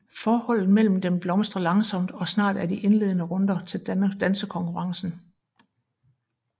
Forholdet mellem dem blomstrer langsomt og snart er de indlende runder til dansekonkurrencen